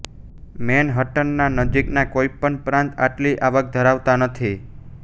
મેનહટનના નજીકના કોઇપણ પ્રાંત આટલી આવક ધરાવતા નથી